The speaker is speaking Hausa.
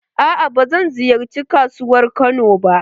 Aa ba zan ziyarci kasuwar Kano ba.